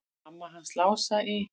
Mamma hans Lása í